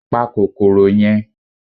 Pa kòkòrò yẹn